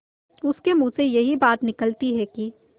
उसके मुँह से यही बात निकलती है कि